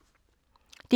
DR K